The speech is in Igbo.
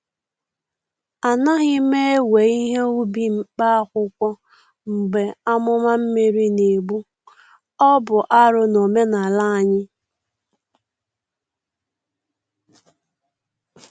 A naghị m ewe ihe ubi mkpa akwụkwọ mgbe amụma mmiri na-egbu-ọ bụ arụ n’omenala anyị.